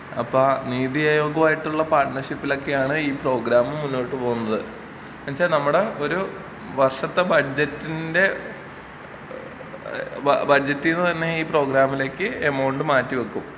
അപ്പൊ ആ നീതി അയോഗുമായിട്ടുള്ള പാർട്ട്നർഷിപ്പിലൊക്കെയാണ് ഈ പ്രോഗ്രാം മുന്നോട്ട് പോവുന്നത്.എന്ന് വെച്ചാ നമ്മുടെ ഒരു വർഷത്തെ ബഡ്ജറ്റിന്റെ ഏഹ് ബഡ്ജറ്റീന്ന് തന്നേ ഈ പ്രോഗ്രാമിലേക്ക് എമൗണ്ട് മാറ്റി വെക്കും